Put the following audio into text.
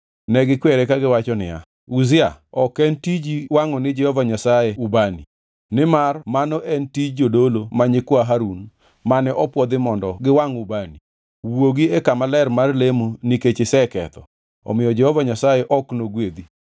Negikwere kagiwacho niya, “Uzia, ok en tiji wangʼo ni Jehova Nyasaye ubani; nimar mano en tij jodolo ma nyikwa Harun mane opwodhi mondo giwangʼ ubani. Wuogi e kama ler mar lemo nikech iseketho, omiyo Jehova Nyasaye ok nogwedhi.”